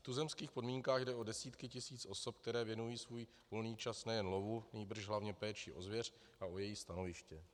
V tuzemských podmínkách jde o desítky tisíc osob, které věnují svůj volný čas nejen lovu, nýbrž hlavně péči o zvěř a o její stanoviště.